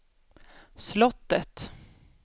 slottet